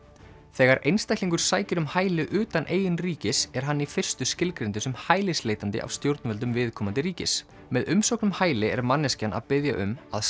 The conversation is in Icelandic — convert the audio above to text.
þegar einstaklingur sækir um hæli utan eigin ríkis er hann í fyrstu skilgreindur sem hælisleitandi af stjórnvöldum viðkomandi ríkis með umsókn um hæli er manneskjan að biðja um að